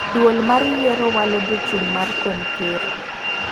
Duol mar yiero walo jochung mar kom ker.